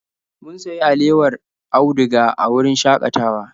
Mun sayi alewar auduga a wurin shakatawa.